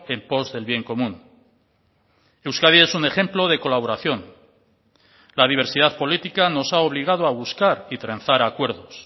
en pos del bien común euskadi es un ejemplo de colaboración la diversidad política nos ha obligado a buscar y trenzar acuerdos